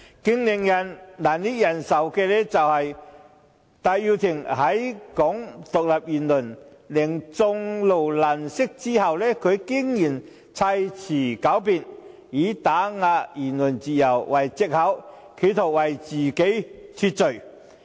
最令人難以忍受的是，戴耀廷在其"港獨"言論令眾怒難息後，他竟然砌詞狡辯，以"打壓言論自由"為藉口，企圖為自己脫罪。